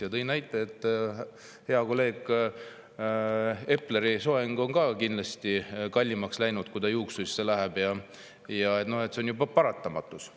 Ja ta tõi näite, et hea kolleegi Epleri soeng on ka kindlasti kallimaks läinud, kui ta juuksuris käib, ja see on paratamatus.